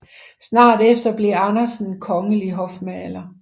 Snart efter blev Andersen kongelig hofmaler